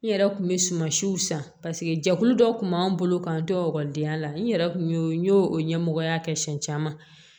N yɛrɛ kun bɛ sumansiw san paseke jɛkulu dɔ kun b'an bolo k'an to ekɔlidenya la n yɛrɛ kun y'o n y'o ɲɛmɔgɔya kɛ siɲɛ caman